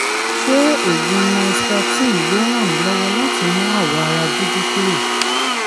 ṣé oògùn nystatin yóò ràn mí lọ́wọ́ láti mú àwọ̀ ara dúdú kúrò?